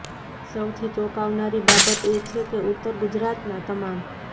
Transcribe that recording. સૌથી ચોંકાવનારી બાબત એ છે કે ઉત્તર ગુજરાતના તમામ